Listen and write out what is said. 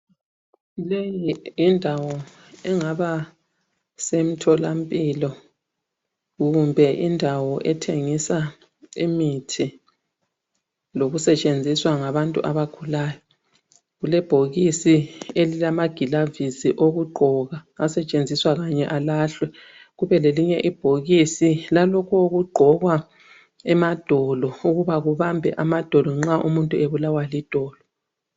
Leyi yindawo engaba samtholampilo kumbe indawo ethengiswa imithi lo kusetshenziswa ngabantu abagulayo, kulebhokisi elilamaglavisi okugqoka asetshenziswa kanye alahlwe kube lelinye ibhokisi lalokhu okugqokwa emadolo ukuba kubambe amadolo nxa umuntu ebulawa lidolo.